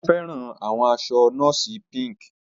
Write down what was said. O fẹran awọn aṣọ nọọsi Pink.